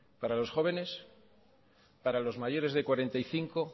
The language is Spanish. para los jóvenes para los mayores de cuarenta y cinco